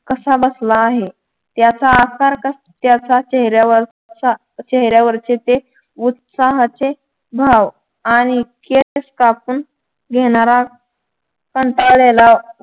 कसा बसला आहे त्याचा आकार त्याच्या चेहऱ्यावर चा चेहऱ्यावरचे ते उत्साहाचे भाव आणि केस कापून घेणारा कंटाळलेला